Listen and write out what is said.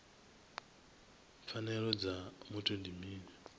pfanelo dza muthu ndi mini